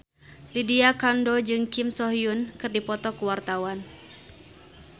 Lydia Kandou jeung Kim So Hyun keur dipoto ku wartawan